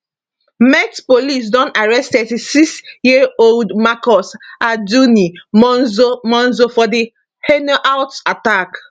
met police don arrest 36yearold marcus arduini monzo monzo for di hainault attack